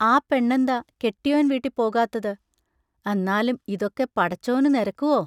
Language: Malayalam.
ആ പെണ്ണന്താ കെട്ടിയോൻ വീട്ടിപ്പോകാത്തത് അന്നാലും ഇതൊക്കെ പടച്ചോനു നെരക്കുവോ?